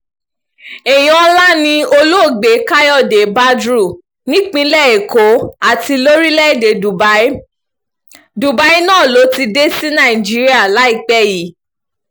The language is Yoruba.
èèyàn ńlá ni olóògbé káyọ̀dé badru nípìnlẹ̀ èkó àti lórílẹ̀-èdè dubai dubai náà ló ti dé sí nàìjíríà láìpẹ́ yìí